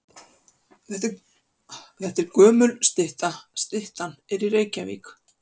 Þetta er gömul stytta. Styttan er í Reykjavík.